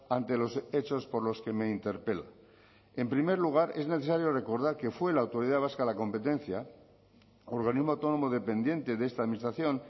ante los hechos por los que me interpela en primer lugar es necesario recordar que fue la autoridad vasca de la competencia organismo autónomo dependiente de esta administración